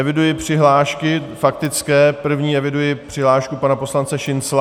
Eviduji přihlášky faktické, první eviduji přihlášku pana poslance Šincla.